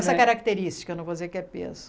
Essa característica, não vou dizer que é peso.